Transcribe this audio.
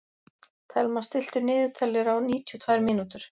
Thelma, stilltu niðurteljara á níutíu og tvær mínútur.